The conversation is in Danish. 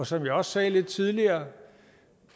som jeg også sagde lidt tidligere